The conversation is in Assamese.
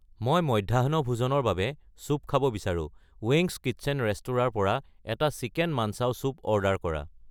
মই মধ্যাহ্নভোজনৰ বাবে চুপ খাব বিচাৰো, ৱেংগছ্ কিটচেন ৰেস্তোৰাঁৰ পৰা এটা চিকেন মানঞ্চাউ চুপ অৰ্ডাৰ কৰা